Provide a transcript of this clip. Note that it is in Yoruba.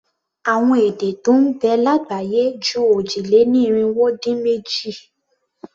Àwọn èdè tó ń bẹ lágbàáyé ju òjì-lé-ní-irinwó-dín-méjì.